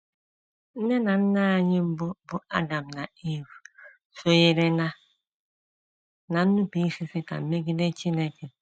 Nne na nna anyị mbụ bụ́ Adam na Iv sonyere ná ná nnupụisi Setan megide Chineke.